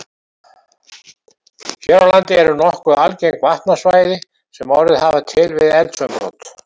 Hér á landi eru nokkuð algeng vatnastæði sem orðið hafa til við eldsumbrot.